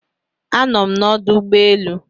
anọm na ọdụ ụgbọ elu